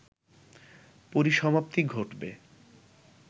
পরিসমাপ্তি ঘটবে